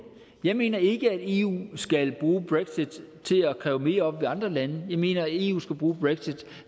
jeg mener ikke at eu skal bruge brexit til at kræve mere op hos andre lande jeg mener at eu skal bruge brexit